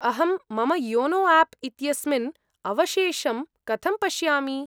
अहं मम YONO app इत्यस्मिन् अवशेषं कथं पश्यामि?